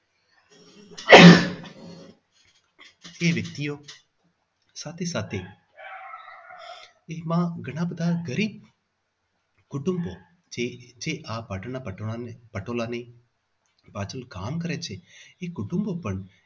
એ વ્યક્તિઓ સાથે સાથે એમાં ઘણા બધા ગરીબ કુટુંબો જે જે આ પાટણના પટોળાને પટોળાને પાછળ કામ કરે છે એ કુટુંબો પણ